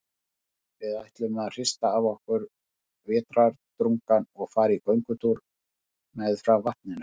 Við ætluðum að hrista af okkur vetrardrungann og fara í göngutúr meðfram vatninu.